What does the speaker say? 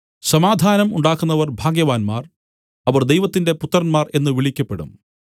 സമാധാനം ഉണ്ടാക്കുന്നവർ ഭാഗ്യവാന്മാർ അവർ ദൈവത്തിന്റെ പുത്രന്മാർ എന്നു വിളിക്കപ്പെടും